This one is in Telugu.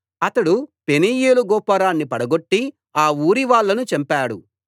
అతడు పెనూయేలు గోపురాన్ని పడగొట్టి ఆ ఊరివాళ్ళను చంపాడు